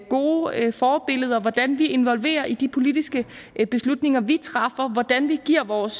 gode forbilleder hvordan vi involverer i de politiske beslutninger vi træffer hvordan vi giver vores